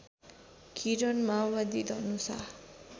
किरण माओवादी धनुषा